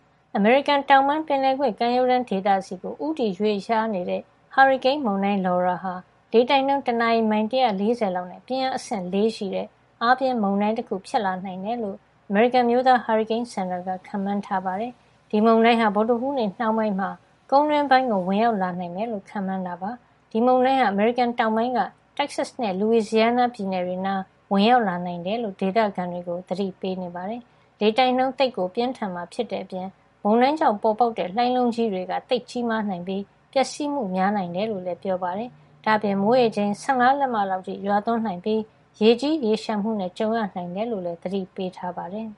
အမေရိကန် တောင်ပိုင်း ပင်လယ်ကွေ့ကမ်းရိုးတန်း ဒေသဆီကို ဦးတည်ရွေ့လျားနေတဲ့ ဟာရီကိန်း မုန်တိုင်း Laura ဟာ လေတိုက်နှုန်း တနာရီ မိုင် ၁၄၀ လောက်နဲ့ ပြင်းအား အဆင့် ၄ ရှိတဲ့ အားပြင်းမုန်တိုင်း တခု ဖြစ်လာနိုင်တယ်လို့ အမေရိကန် အမျိုးသား ဟာရီကိန်းစင်တာက ခန့်မှန်းထားပါတယ်။ ဒီမုန်တိုင်းဟာ ဗုဒ္ဓဟူးနေ့နှောင်းပိုင်းမှာ ကုန်းတွင်းပိုင်းကို ဝင်ရောက်လာနိုင်မယ်လို့ ခန့်မှန်းထား ပါတယ်။ မုန်တိုင်းခန့်မှန်းတွက်ချက်သူတွေကတော့ ဒီမုန်တိုင်းဟာ အမေရိကန် တောင်ပိုင်းက တက်ဆက်စ် နဲ့ လူဝီဇီယားနား ပြည်နယ်တွေနားမှာ ဝင်ရောက်လာနိုင်တယ်လို့ ဒေသခံတွေကို သတိပေးနေပါတယ်။ လေတိုက်နှုန်း သိပ်ကို ပြင်းထန်မှာ ဖြစ်တဲ့အပြင် မုန်တိုင်းကြောင့် ပေါ်ပေါက်လာတဲ့ လှိုင်းလုံးကြီးတွေ သိပ်ကြီးမားနိုင်ပြီး ပျက်စီးမှု များနိုင်တယ်လို့လည်း ပြောပါတယ်။ ဒါ့အပြင် မိုးရေချိန် ၁၅ လက်မလောက် အထိ ရွာသွန်းနိုင်ပြီး ရေကြီးရေလျှံမှု တွေနဲ့ ကြုံရနိုင်တယ်လို့ လည်း သတိပေးထားပါတယ်။